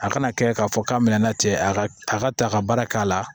A kana kɛ k'a fɔ k'a bɛna na cɛ a ka a ka ta ka baara k'a la